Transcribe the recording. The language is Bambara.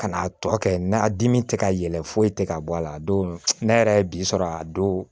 Ka n'a tɔ kɛ na dimi tɛ ka yɛlɛ foyi tɛ ka bɔ a la don ne yɛrɛ ye bi sɔrɔ a don